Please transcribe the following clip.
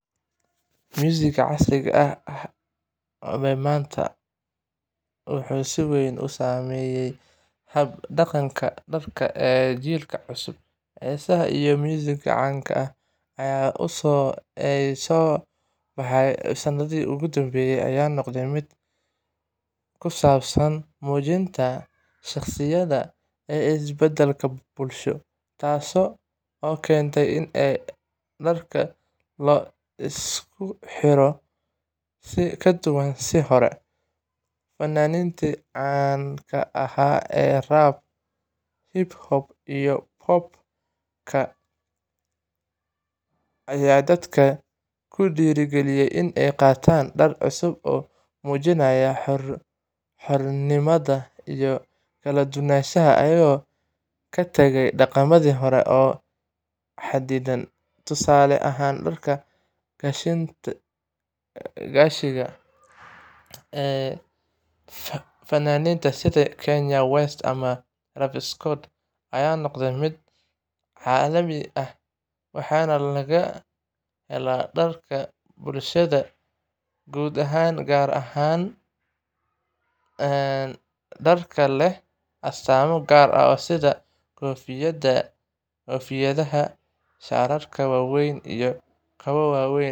Muusigga casriga ah ee maanta wuxuu si weyn u saameeyay hab-dhaqanka dharka ee jiilka cusub. Heesaha iyo muusigga caanka ah ee soo baxay sanadihii ugu dambeeyay ayaa noqday mid ku saabsan muujinta shakhsiyadda iyo isbeddelka bulsho, taasoo keentay in dharka la isku xirto si ka duwan sidii hore. Fanaaniinta caan ka ah sida rap, hip-hop, iyo pop-ka ayaa dadka ku dhiirrigeliya inay qaataan dhar cusub oo muujinaya xornimada iyo kala duwanaanshaha, iyagoo ka tagaya dhaqamadii hore ee xaddidan. Tusaale ahaan, dharka gashiga ah ee fanaaniinta sida Kanye West ama Travis Scott ayaa noqday mid caalami ah, waxaana laga helaa dharka bulshada guud ahaan, gaar ahaan dharka leh astaamo gaar ah sida koofiyadaha, shaadhadhka waaweyn, iyo kabo waaweyn